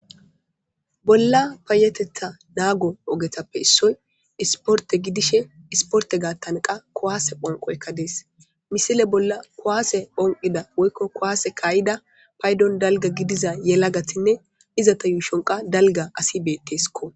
Bolla payetetha naago ogetappe issoy isporte gidishe isporte gaattan qa kowaase phanqoykka dees misile bolla kowaase phonqida woykko kuwaase kaayida paydon dalga gidiza yelagatinne izata yuushonqa dalga asi beetteskko